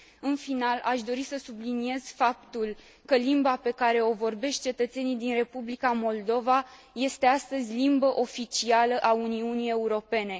În final, aș doresc să subliniez faptul că limba pe care o vorbesc cetățenii din Republica Moldova este astăzi limbă oficială a Uniunii Europene.